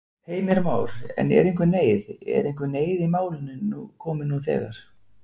Heimir Már: En er einhver neyð, er einhver neyð í málinu komin nú þegar?